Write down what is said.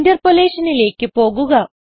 Interpolationലേക്ക് പോകുക